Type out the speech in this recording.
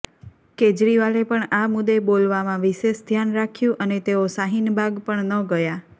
કેજરીવાલે પણ આ મુદ્દે બોલવામાં વિશેષ ધ્યાન રાખ્યું અને તેઓ શાહીન બાગ પણ ન ગયા